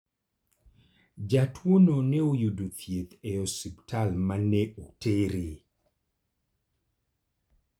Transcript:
Jatuono ne oyudo thieth e osiptal ma ne otere.